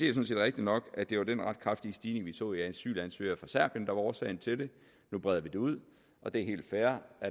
er rigtigt nok at det var den ret kraftige stigning vi så i antallet af asylansøgere fra serbien årsagen til det nu breder vi det ud og det er helt fair